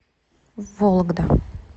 вологда